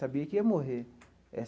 Sabia que ia morrer.